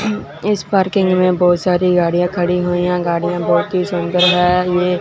इस पार्किंग में बहोत सारी गाड़ियां खड़ी हुई गाड़ियां बहोत ही सुंदर है ये।